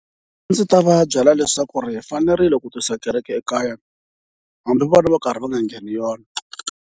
A ndzi ta va byela leswaku hi fanerile ku tisa kereke ekaya hambi vona va karhi va nga ngheni yona.